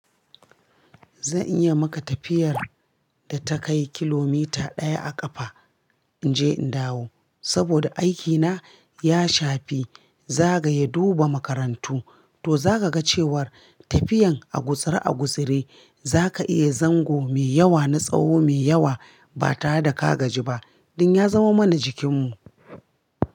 Zan iya maka tafiyar da ta kai kilomita ɗaya a ƙafa inje in dawo. Saboda aikina ya shafi zagaye duba makarantu to zaka ga cewar tafiyan a gutsare-a gutsaure zaka iya zango mai yawa na tsawo mai yawa ba tare da ka gaji ba. Dan ya zama mana jikinmu.